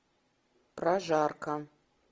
прожарка